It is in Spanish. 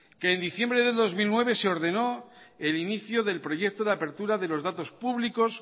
que en diciembre del dos mil nueve se ordenó el inicio del proyecto de apertura de los datos públicos